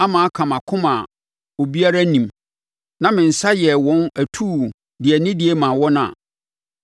ama aka mʼakoma a obiara nnim na me nsa yɛɛ wɔn atuu de anidie maa wɔn a,